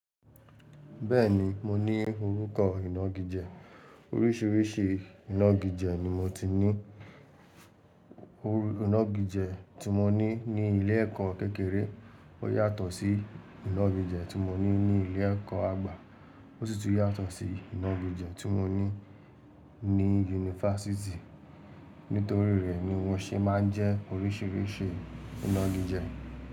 Bẹ́ẹ̀ni, mo ní orúkọ ìnagijẹ. Oríṣiríṣi ìnagijẹ ni mo ti ní. Inagijẹ tí mo ní ní ilé-ẹ̀kọ́ kékeré ó yàtọ̀ sí inagijẹ tí mo ní ní ilé-ẹ̀kọ́ àgbà, ó sì tún yàtọ̀ sí inagijẹ tí mo ní ní yunifásítì. Nítorí rẹ̀ ni wọ́n ṣé máa ń jẹ́ oríṣiríṣi ìnagijẹ.